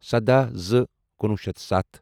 سَداہ زٕ کُنوُہ شیٚتھ تہٕ سَتھ